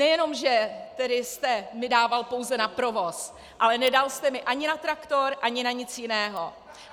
Nejenom že jste mi dával pouze na provoz, ale nedal jste mi ani na traktor ani na nic jiného!